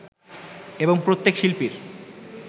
এবং প্রত্যেক শিল্পীর